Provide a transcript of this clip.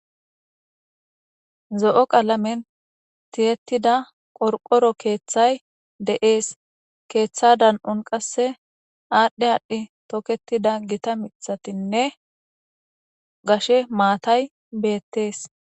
Zo7o qalamen tiyettida qorqoro keeththay de7ees keetha dan7on qasse aadhdhi aadhdhi tokettida gita miththatinne gashe maatay beettees.